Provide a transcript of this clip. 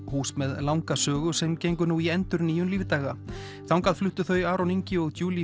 hús með langa sögu sem gengur í endurnýjun lífdaga þangað fluttu þau Aron Ingi og